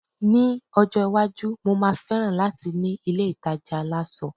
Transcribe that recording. mi ọjọ iwaju, mo ma feran lati ni ilé ìtajà aláṣọ